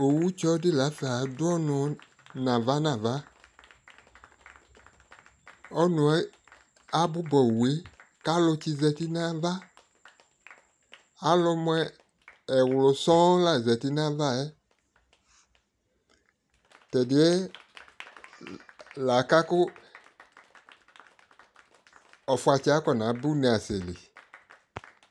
ɔwʋ tsɔ di laƒa adʋ ɔnʋ nʋ aɣa nʋaɣa, ɔnʋɛ abʋba ɔwʋɛ ka alʋ tsis zati nʋ aɣa, alʋ mʋ ɛwlʋ sɔɔn la zati nʋ aɣaɛ, tɛ ɛdiɛ laka kʋ ɔƒʋatsɛ aƒɔna ba ʋnɛ asɛli